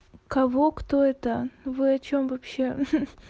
кого кто это вы о чём вообще